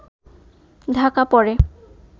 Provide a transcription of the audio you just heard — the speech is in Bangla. ঢাকা পড়ে